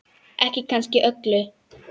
Ekki kannski öllu.